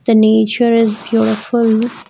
The nature is beautiful.